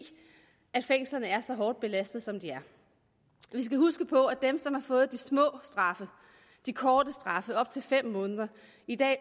fængslerne er så hårdt belastede som de er vi skal huske på at dem som har fået de korte straffe på op til fem måneder i dag